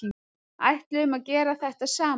Ætluðum að gera þetta saman